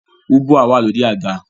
Ubwa wà lórí àga